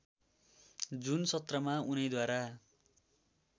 जुन सत्रमा उनैद्वारा